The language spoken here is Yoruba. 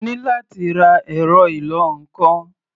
Mo ní láti ra ẹ̀rọ ìlọ-nǹkan.